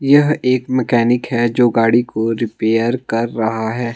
यह एक मैकेनिक है जो गाड़ी को रिपेयर कर रहा है।